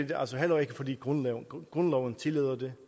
det altså heller ikke fordi grundloven grundloven tillader det